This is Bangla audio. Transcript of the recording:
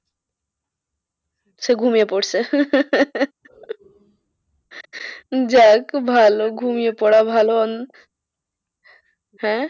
সে ঘুমিয়ে পড়েছে। যাক ভালো ঘুমিয়ে পড়া ভালো হ্যাঁ